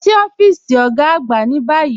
Lọ sí ọfiísì ogá àgbà ni bayí.